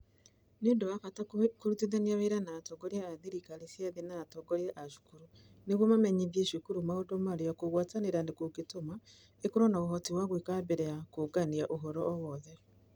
Nĩ ũndũ wa bata kũrutithania wĩra na atongoria a thirikari cia thĩ na atongoria a cukuru nĩguo mamenyithie cukuru maũndũ marĩa kũgwatanĩra kũngĩtũma ĩkorũo na ũhoti wa gwĩka mbere ya kũũngania ũhoro o wothe.